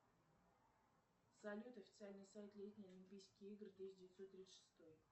салют официальный сайт летние олимпийские игры тысяча девятьсот тридцать шестой